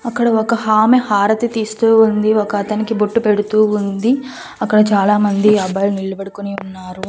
అక్కడ ఒక ఆమె హారతి తీస్తూ ఉంది ఒక అతనికి బొట్టు పెడుతూ ఉంది అక్కడ చాలా మంది అబ్బాయిలు నిలబడుకుని ఉన్నారు.